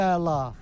Lap əla.